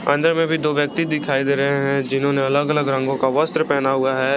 अंदर में भी दो व्यक्ति दिखाई दे रहे हैं जिन्होंने अलग अलग रंगों का वस्त्र पहना हुआ है।